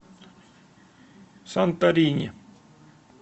санторини